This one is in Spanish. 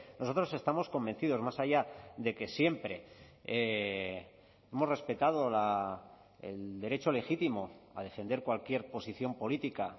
nosotros estamos convencidos más allá de que siempre hemos respetado el derecho legítimo a defender cualquier posición política